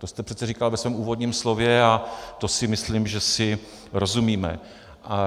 To jste přece říkal ve svém úvodním slově a to si myslím, že si rozumíme.